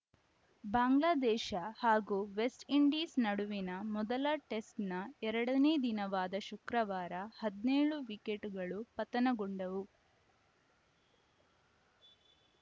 ಬಾಂಗ್ಲಾದೇಶ ಹಾಗೂ ವೆಸ್ಟ್‌ಇಂಡೀಸ್‌ ನಡುವಿನ ಮೊದಲ ಟೆಸ್ಟ್‌ನ ಎರಡ ನೇ ದಿನವಾದ ಶುಕ್ರವಾರ ಹದಿನೇಳು ವಿಕೆಟ್‌ಗಳು ಪತನಗೊಂಡವು